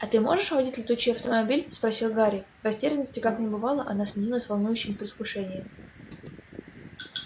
а ты можешь водить летучий автомобиль спросил гарри в растерянности как не бывало она сменилась волнующим предвкушением